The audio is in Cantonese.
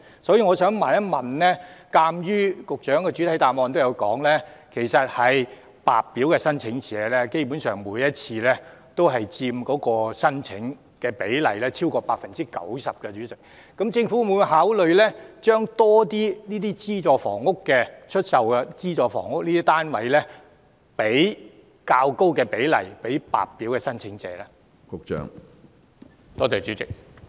所以我想問，鑒於局長在主體答覆中指出，白表申請者基本上佔每次申請總數的超過 90%， 政府會否考慮將較高比例的資助出售房屋項目單位出售予白表申請者呢？